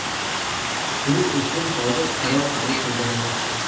Shuning uchun hozir qaror qabul qilganim yaxshi.